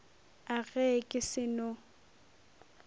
a ge ke se no